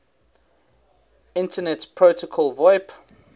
internet protocol voip